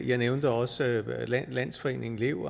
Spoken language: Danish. jeg nævnte også landsforeningen lev